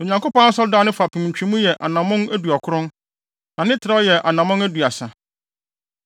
Na Onyankopɔn Asɔredan no fapem ntwemu yɛ anammɔn aduɔkron, na ne trɛw mu yɛ anammɔn aduasa.